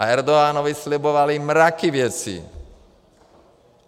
A Erdoganovi slibovali mraky věcí.